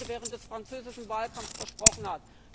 Hollande während des französischen Wahlkampfs versprochen hat.